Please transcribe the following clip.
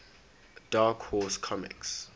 dark horse comics